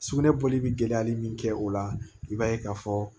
Sugunɛ bɔli bi gɛlɛyali min kɛ o la i b'a ye k'a fɔ